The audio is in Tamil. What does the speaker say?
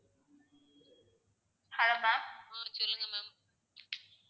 ஆஹ் சொல்லுங்க ma'am